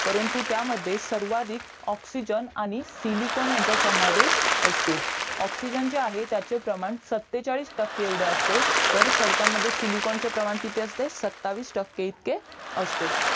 परंतु त्या मध्ये सर्वाधिक ऑक्सिजन आणि सिलिकॉन यांचा समावेश असतो ऑक्सिजन जे आहे त्याचे प्रमाण सत्तेचाळीस एवढे असते तर खडकांमध्ये सिलिकॉन चे प्रमाण किती असते सत्तावीस टक्के इतकी असते